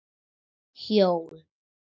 Hjól?